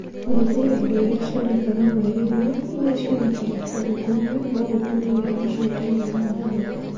"Gũthuthuria indo iria cionekaga mweri-inĩ, iria cionekaga kũndũ kũmwe, no gũtũme wĩra ũcio ũkorũo ũrĩ mũhũthũ".